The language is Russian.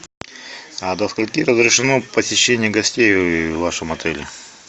а до скольки разрешено посещение гостей в вашем отеле